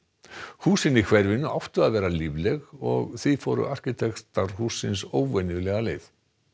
húsin í hverfinu áttu að vera lífleg og því fóru arkitektar hússins óvenjulega leið